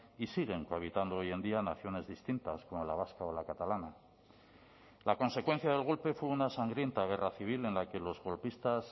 y siguen cohabitando hoy en día naciones distintas como la vasca o la catalana la consecuencia del golpe fue una sangrienta guerra civil en la que los golpistas